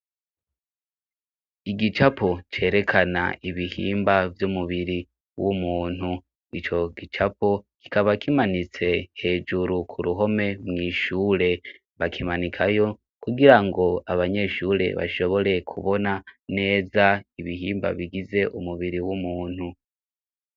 Igicapo cerekana ibihimba vy'umubiri w'umuntu i co gicapo kikaba kimanitse hejuru ku ruhome mw'ishure bakimanikayo kugira ngo abanyeshure bashobore kubona neza ibihimba bigize umubiri w'umuntu.